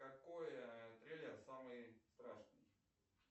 какой трейлер самый страшный